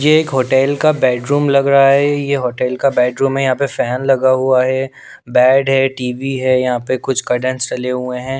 ये एक होटल का बेडरूम लग रहा है ये होटल का बेडरूम है यहाँ पे फैन लगा हुआ है बेड है टी_वी है यहाँ पे कुछ कर्डनस चले हुए हैं।